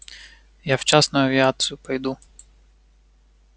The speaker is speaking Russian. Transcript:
я в частную авиацию пойду